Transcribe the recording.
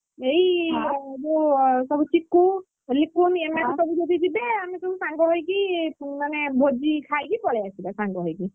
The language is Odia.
ଏଇ ହଁ ଯୋଉ ଅ ସବୁ ଚିକୁ, ରିକୁ ଏମାନେ ସବୁ ଯଦି ଯିବେ ଆମେ ସବୁ ସାଙ୍ଗ ହେଇକି ମାନେ ଭୋଜି ଖାଇକି ପଳେଇ ଆସିବା ସାଙ୍ଗ ହେଇକି।